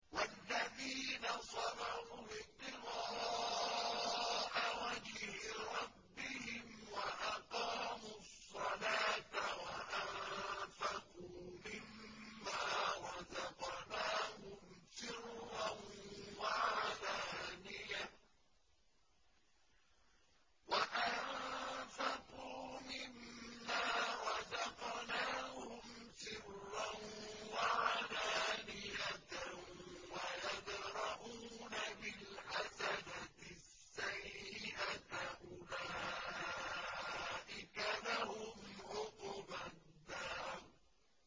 وَالَّذِينَ صَبَرُوا ابْتِغَاءَ وَجْهِ رَبِّهِمْ وَأَقَامُوا الصَّلَاةَ وَأَنفَقُوا مِمَّا رَزَقْنَاهُمْ سِرًّا وَعَلَانِيَةً وَيَدْرَءُونَ بِالْحَسَنَةِ السَّيِّئَةَ أُولَٰئِكَ لَهُمْ عُقْبَى الدَّارِ